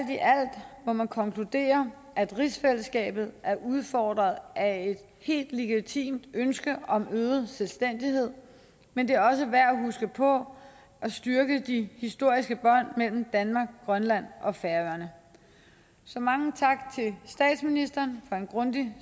må man konkludere at rigsfællesskabet er udfordret af et helt legitimt ønske om øget selvstændighed men det er også værd at huske på at styrke de historiske bånd mellem grønland og færøerne så mange tak til statsministeren for en grundig